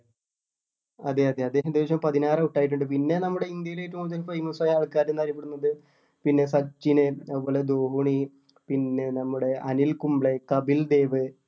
അതെ അതെ അദ്ദേഹം ഏകദേശം പതിനാറ് out ആയിട്ടുണ്ട് പിന്നെ നമ്മുടെ ഇന്ത്യല് ഏറ്റവും കൂടുതല് famous ആയ ആൾക്കാര് എന്ന് അറിയപ്പെടുന്നത് പിന്നെ സച്ചിന് അതുപോലെ ധോണി പിന്നെ നമ്മുടെ അനിൽ കുംബ്ലെ കപിൽ ദേവ്